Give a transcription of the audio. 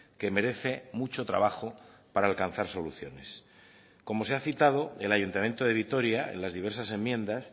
que merece mucho trabajo para alcanzar soluciones como se ha citado el ayuntamiento de vitoria en las diversas enmiendas